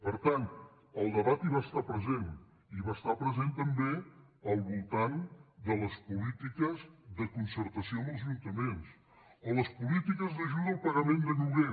per tant el debat hi va estar present i va estar present també al voltant de les polítiques de concertació amb els ajuntaments o les polítiques d’ajuda al pagament de lloguer